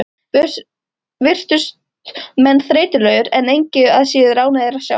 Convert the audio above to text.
Virtust menn þreytulegir, en engu að síður ánægðir að sjá.